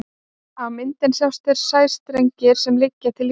á myndinni sjást þeir sæstrengir sem liggja til íslands